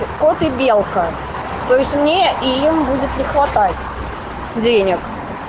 кот и белка то есть мне и им будет ли хватать денег